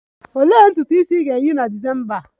Olee ntutu isi ị ga-eyi na December a?